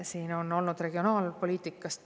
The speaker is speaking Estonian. Siin on olnud palju juttu regionaalpoliitikast.